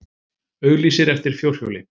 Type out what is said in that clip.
Auglýsir eftir fjórhjóli